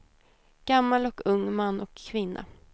Gammal och ung, man och kvinna.